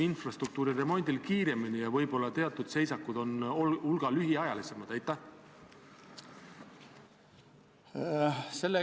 Eesti osalemine NATO reageerimisjõududes NRF-is tuleneb meie NATO-liikmesusest.